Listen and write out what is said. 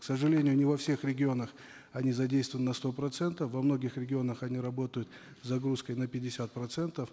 к сожалению не во всех регионах они задействованы на сто процентов во многих регионах они работают с загрузкой на пятьдесят процентов